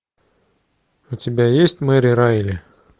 у тебя есть мэри райли